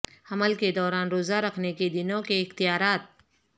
حمل کے دوران روزہ رکھنے کے دنوں کے اختیارات